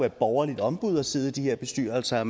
et borgerligt ombud at sidde i de her bestyrelser